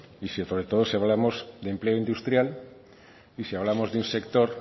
y sobre todo si hablamos de empleo industrial y si hablamos del sector